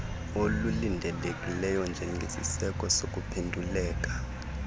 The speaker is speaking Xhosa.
olulindelekileyo njengesiseko sokuphenduleka